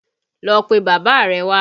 Lọ pe bàbá rẹ̀ wá!